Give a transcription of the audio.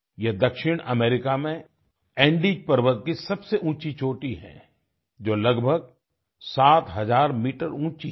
ये दक्षिण अमेरिका में एंडेस पर्वत की सबसे ऊँची चोटी है जो लगभग 7000 मीटर ऊँची है